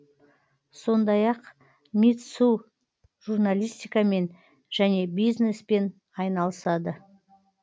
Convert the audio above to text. сондай ақ митсу журналистикамен және бизнеспен айналысады